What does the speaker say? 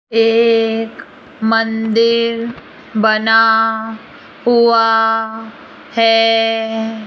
एक मंदिर बना हुआ हैं।